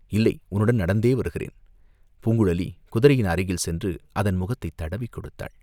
"இல்லை, உன்னுடன் நடந்தே வருகிறேன்." பூங்குழலி குதிரையின் அருகில் சென்று அதன் முகத்தைத் தடவிக் கொடுத்தாள்.